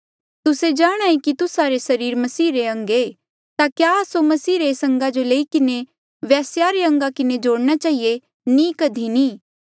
तुस्से सच्चे जाणांहे कि तुस्सा रे सरीर मसीहा रे अंग ऐें ता क्या आस्सो मसीहा रे एस अंगा जो लेई किन्हें वेस्या रे अंगा किन्हें जोड़ना चहिए नी कधी नी